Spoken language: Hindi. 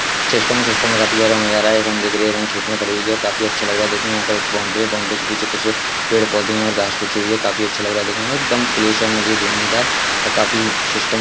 इस सिस्टम में काफी अच्छा नजारा है| हिरन दिख रही है हिरन खेत में खड़ी हुई है| काफी अच्छा लग रहा है| देखने में एक बाउंड्री है बाउंड्री के पीछे कुछ पेड़-पौधे और घास बिछी हुई है| काफी अच्छा लग रहा है देखने में एकदम प्रेशर में घूमने में इधर काफी सिस्टम बढ़िया है।